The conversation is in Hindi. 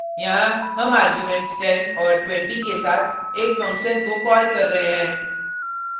यहाँ हम आर्गुमेंट्स 10 और 20 के साथ एक फंक्शन को कॉल कर रहे हैं